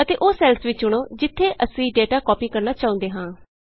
ਅਤੇ ਉਹ ਸੈੱਲਸ ਵੀ ਚੁਣੋ ਜਿਥੇ ਅਸੀਂ ਡੇਟਾ ਕਾਪੀ ਕਰਨਾ ਚਾਹੁੰਦੇ ਹਾਂ